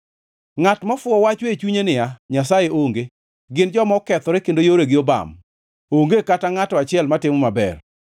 Ngʼat mofuwo wacho e chunye niya, “Nyasaye onge.” Gin joma okethore, kendo yoregi obam; onge kata ngʼato achiel matimo maber.